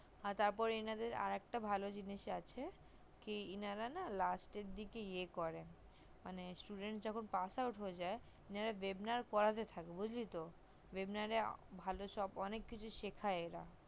আর তার পর এনাদের আর একটা ভালো জিনিস আসে ইন রা না last এর দিকে ইয়ে করে মানে student pass out যখন হয়ে না ইন রা webinar পড়াতে থাকে বুজলি তো webinar এ ভালো কিছু অনেক কিছু শিখাই এনারা